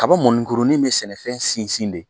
Kaba mɔnikuruni bɛ sɛnɛfɛn sinsin de